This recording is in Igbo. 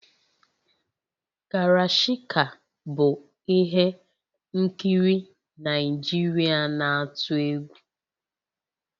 Karashika bụ ihe nkiri Naijiria na-atụ egwu